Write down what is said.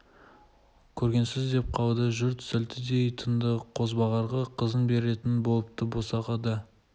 көргенсіз деп қалды жұрт сілтідей тынды қозбағарға қызын беретін болыпты босағада